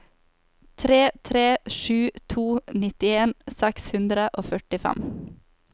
tre tre sju to nittien seks hundre og førtifem